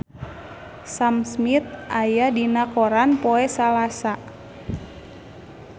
Sam Smith aya dina koran poe Salasa